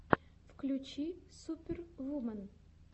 включи супервумен